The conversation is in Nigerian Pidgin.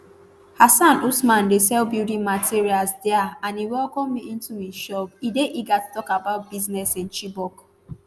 hassan usman dey sell building materials dia and e welcome me into im shop e dey eager to tok about business in chibok